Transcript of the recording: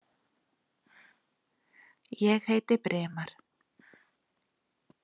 Ég heiti Brimar.